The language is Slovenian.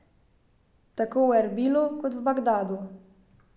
Tako v Erbilu kot v Bagdadu.